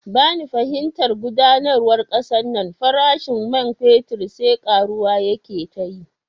Bani fahimtar gudanarwar kasan nan, farashin man fetur sai karuwa yake tayi